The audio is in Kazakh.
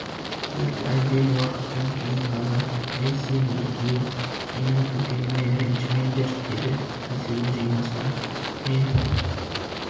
тек әлден уақыттан кейін ғана әй сен екеуің менің күлгеніме ренжімеңдер деді езуін жимастан мен